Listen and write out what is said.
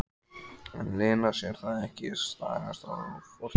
En Lena sér það ekki, stagast á fortíð.